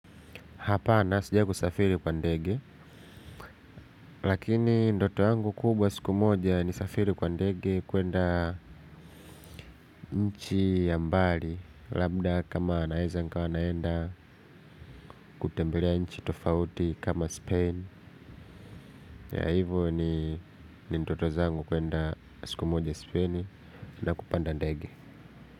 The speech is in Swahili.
Hapana sijawai kusafiri kwa ndege, lakini ndoto yangu kubwa siku moja nisafiri kwa ndege kuenda nchi ya mbali. Labda kama naeza nikawa naenda kutembelea nchi tofauti kama Spain Yea hivyo ni ndoto zangu kuenda siku moja Spain na kupanda ndege.